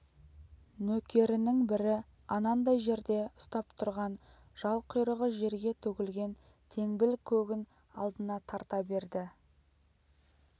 нөкерінің бірі анандай жерде ұстап тұрған жал-құйрығы жерге төгілген теңбіл көгін алдына тарта берді